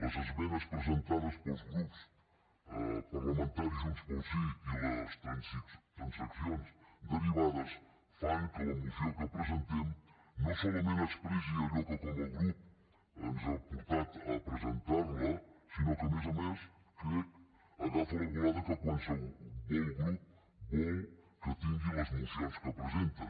les esmenes presentades pels grups parlamentaris junts pel sí i les transaccions derivades fan que la moció que presentem no solament expressi allò que com a grup ens ha portat a presentar la sinó que a més a més ho crec agafa la volada que qualsevol grup vol que tingui les mocions que presenta